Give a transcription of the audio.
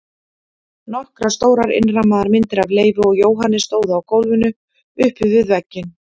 Nokkrar stórar innrammaðar myndir af Leifi og Jóhanni stóðu á gólfinu uppi við vegginn.